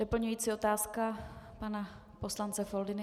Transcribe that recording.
Doplňující otázka pana poslance Foldyny.